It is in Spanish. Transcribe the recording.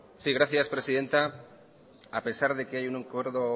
gracias presidenta a pesar de que hay un acuerdo